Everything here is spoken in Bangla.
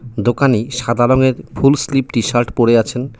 দোকানি সাদা রংয়ের ফুল স্লিভ টি-শার্ট পরে আছেন.